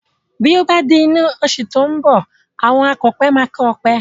Bí ó bá di inú oṣù tí ó ń bọ̀, àwọn akọ̀pẹ máa kọ́ ọpẹ